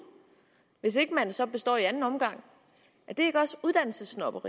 hvis ikke man så består i anden omgang er det